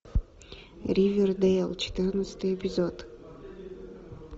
ривердейл четырнадцатый эпизод